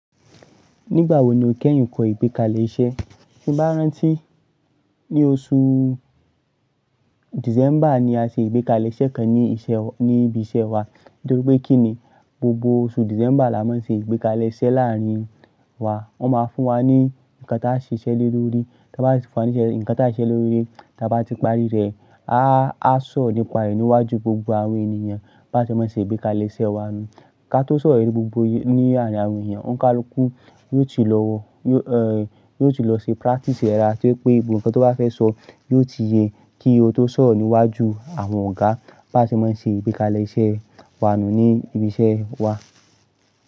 Nígbà wo ni o kẹ́yìn kọ́ ìgbékalẹ̀ iṣẹ́? Ní oṣù December ni a ṣe ìgbékalẹ̀ iṣẹ́ kan ní ibi iṣẹ́ wa. Nítorí pé kí ni gbogbo oṣù December là máa ń ṣe ìgbékalẹ̀ iṣẹ́ láàárín wa. Wọ́n máa fún wa ní nǹkan tá a ṣe ṣẹ́ lórí. Tí a bá ti fún ní nǹkan tá a siṣẹ́ lórí, tí a bá ti parí rẹ̀, a á sọ̀ ọ́ nípa èyí níwájú gbogbo àwọn ènìyàn bá ti máa ṣe ìgbékalẹ̀ iṣẹ́ wa nù. Ka tó sọ̀ ọ́ ní gbogbo ní àárín àwọn ènìyàn, ọ̀ńkà lókú yóò ti lọ wọ, yóò ti lọ ṣe practice rẹ̀. To jẹ́ pé gbogbo ohun kan tó bá fẹ́ sọ, yóò ti ye kí ó tó sọ̀ rọ́ níwájú àwọn ọ̀gá bá ti máa ṣe ìgbékalẹ̀ iṣẹ́ wa nù ní ibi iṣẹ́ wa.